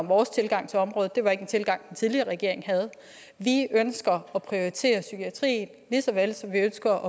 vores tilgang til området det var ikke en tilgang den tidligere regering havde vi ønsker at prioritere psykiatrien lige så vel som vi ønsker